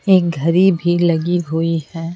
एक घरी भी लगी हुई है।